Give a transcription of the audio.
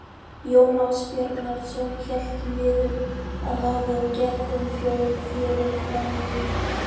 Jón Ásbjarnarson hélt niður að hafi og gekk um fjörur fram í myrkur.